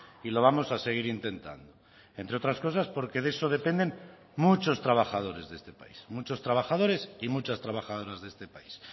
y lo vamos a seguir intentando entre otras cosas porque de eso dependen muchos trabajadores de este país muchos trabajadores y muchas trabajadoras de este país